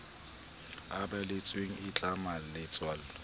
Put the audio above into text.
e balletsweng e tlama letswalo